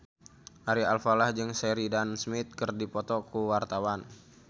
Ari Alfalah jeung Sheridan Smith keur dipoto ku wartawan